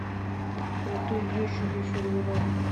крутые вещи для серверов